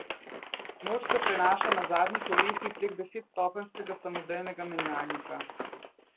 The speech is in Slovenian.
Moč se prenaša na zadnji kolesi prek desetstopenjskega samodejnega menjalnika.